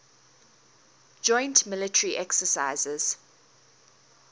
joint military exercises